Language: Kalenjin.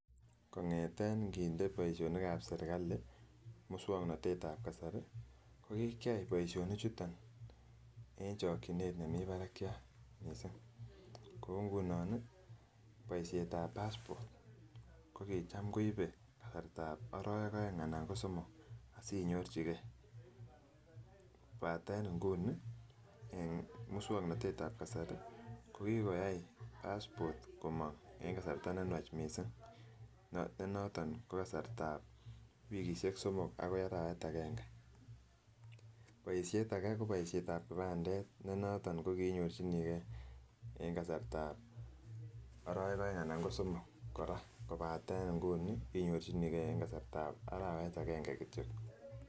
Kong'eten ing'inde boishonikab serikali muswoknotetab kasari ko kikeyai boishonichuton en chokyinet nemii barakyat mising, ko ng'unon boishetab passport ko kicham koibe kasarta oroweek oeng anan ko somok asinyorchikee kobaten ingunii muswoknotetab kasari ko kikoyai passport komong en kasarta nenwach mising ne noton ko kasartab wikishek somok akoi arawet akeng'e, boishet akee ko boishetab kipandet ne noton ko kinyorchinikee en kasartab orowek oeng anan ko somok kora kobaten ingunii inyorchinikee en kasartab arawet akeng'e kityok.